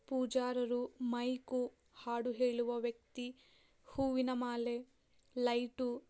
ಪೂಜಾರರು mic ಹಾಡು ಹೇಳುವ ವ್ಯಕ್ತಿ ಹೂವಿನ ಮಾಲೆ ಲೈಟು --